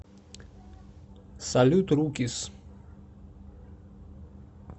салют рукис